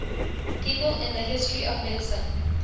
people in the history of medicine